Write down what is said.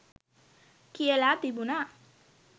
කියලා තිබුණා